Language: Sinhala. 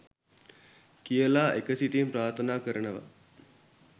කියල එකසිතින් ප්‍රාර්ථනා කරනව